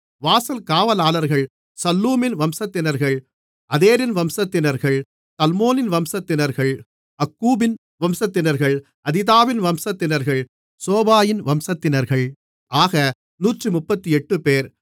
வாசல் காவலாளர்கள் சல்லூமின் வம்சத்தினர்கள் அதேரின் வம்சத்தினர்கள் தல்மோனின் வம்சத்தினர்கள் அக்கூபின் வம்சத்தினர்கள் அதிதாவின் வம்சத்தினர்கள் சோபாயின் வம்சத்தினர்கள் ஆக 138 பேர்